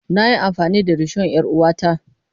Na yi amfani da rishon 'yar uwata.